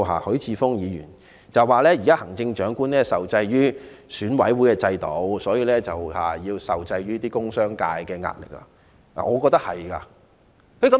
許智峯議員提到現時行政長官受制於選舉管理委員會的制度，因而受制於工商界的壓力，我認為他說得對。